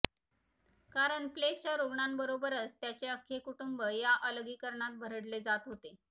कारण प्लेगच्या रुग्णाबरोबरच त्याचे अख्खे कुटुंब या अलगीकरणात भरडले जात होते